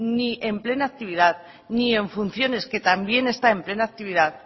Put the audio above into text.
ni en plena actividad ni en funciones que también está en plena actividad